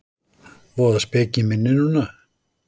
Voða speki í minni núna.